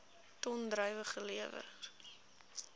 ton druiwe gelewer